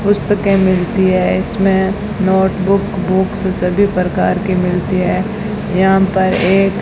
पुस्तके मिलती है इसमें नोट बुक बुक्स सभी प्रकार की मिलती है यहां पर एक --